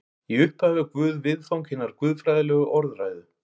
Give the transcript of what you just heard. Í upphafi var Guð viðfang hinnar guðfræðilegu orðræðu.